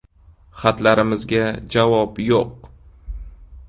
Xatlarimizga javob yo‘q”.